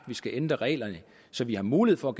vi skal ændre reglerne så vi har mulighed for